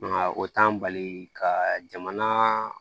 o t'an bali ka jamana